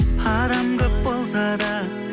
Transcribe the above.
адам көп болса да